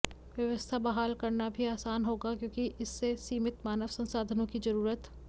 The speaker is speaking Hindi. व्यवस्था बहाल करना भी आसान होगा क्योंकि इससे सीमित मानव संसाधनों की जरूरत